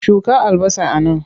Shuka albasa a nan!